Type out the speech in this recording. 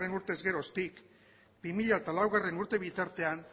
urtez geroztik bi mila hamalaugarrena urte bitartean